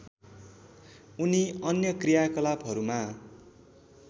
उनी अन्य कृयाकलापहरूमा